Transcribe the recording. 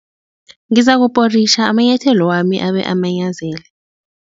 Ngizakuporitjha amanyathelo wami abe amanyazele.